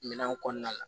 Minɛnw kɔnɔna la